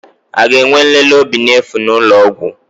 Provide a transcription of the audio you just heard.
A ga-enwe nlele obi n'efu n'ụlọ ọgwụ?